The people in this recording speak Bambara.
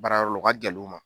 Baarayɔrɔ la o ka gɛlɛ u ma